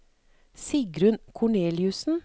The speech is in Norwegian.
Sigrunn Korneliussen